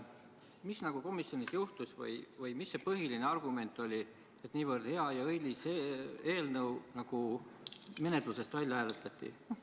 Mis komisjonis juhtus või mis see põhiline argument oli, et nii hea ja õilis eelnõu menetlusest välja hääletati?